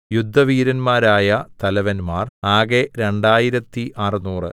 യുദ്ധവീരന്മാരായ തലവന്മാർ ആകെ രണ്ടായിരത്തി അറുനൂറ്